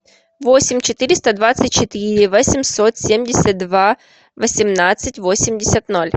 восемь четыреста двадцать четыре восемьсот семьдесят два восемнадцать восемьдесят ноль